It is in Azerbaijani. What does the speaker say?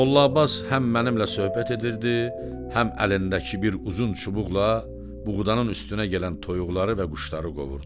Molla Abbas həm mənimlə söhbət edirdi, həm əlindəki bir uzun çubuqla buğdanın üstünə gələn toyuqları və quşları qovurdu.